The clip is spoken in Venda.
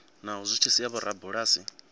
naho zwi tshi sia vhorabulasi